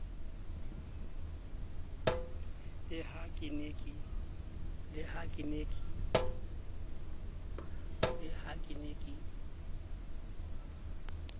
le ha ke ne ke